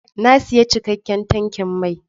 Na sayi cikakken tankin mai.